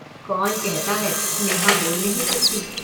कौन कहता है, नेहा बोल नहीं सकती।